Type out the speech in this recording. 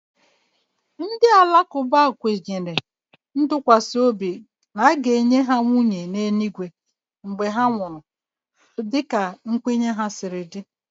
Ndị Alakụba kwesịrị ntụkwasị obi ga-enye nwunye n'eluigwe mgbe ha nwụrụ dịka nkwenye ha siri dị